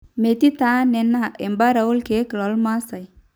metii taa nena embaara oorkeek loormaasai